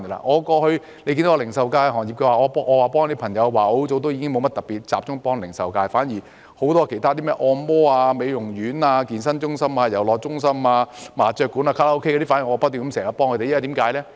我過去曾協助零售業，但我很久之前已沒有再特別集中協助零售業，反而轉為協助很多其他行業，例如按摩院、美容院、健身中心、遊樂中心、麻將館、卡拉 OK 等，我不斷協助他們。